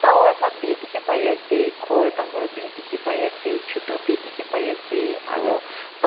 tower khan bi dikhi paiase khor dangor bi dikhipaiase chutu bi dikhipaiase aro pan--